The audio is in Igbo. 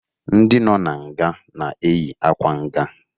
Ndị nọ n'nga na-eyi akwa nga